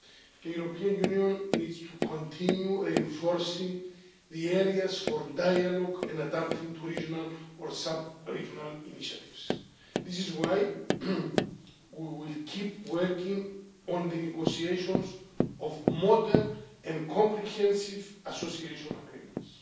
The European Union needs to continue reinforcing the areas for dialogue and adapting to regional or sub regional initiatives. This is why we will keep working on the negotiations of modern and comprehensive association agreements,